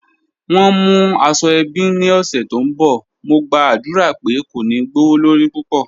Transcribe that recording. Wọ́n ń mú àṣọ-èbí ní ọṣẹ̀ tó nbọ̀, mò gba'dúra pé kò ní gbọwọ̀lọrí púpọ̀.